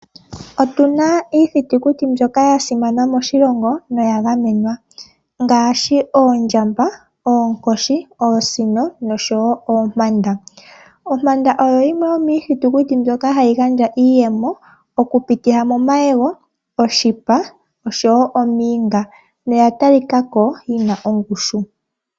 Otuna iithitukuti mbyoka yasimana moshilongo noya gamenwa ngaashi oondjamba, oonkoshi, oosino noshowo oompanda. Ompanda oyo yimwe mbyoka hayi gandja iiyemo okupitila momayego, oshipa oshowoo omiyinga. Oya talikako yina ongushu.